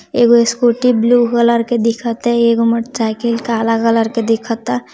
एक scooty blue colour की दिख रही है | एक मोटरसाइकिल काला कलर का दिख रहा है।